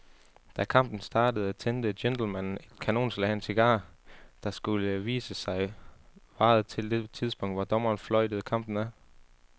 Da kampen startede tændte gentlemanen et kanonslag af en cigar, der, skulle det vise sig, varede til det tidspunkt, hvor dommeren fløjtede kampen af.